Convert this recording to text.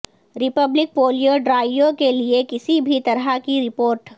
republic polio drive کے لئے کسی بھی طرح کی رپورٹ